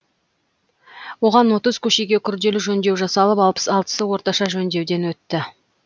оған отыз көшеге күрделі жөндеу жасалып алпыс алтысы орташа жөндеуден өтті